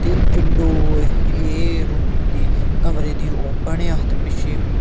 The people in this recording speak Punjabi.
ਤੇ ਵਿੰਡੋ ਏ ਰੂਮ ਦੀ ਕਮਰੇ ਦੀ ਓਪਨ ਆ ਤੇ ਪਿੱਛੇ--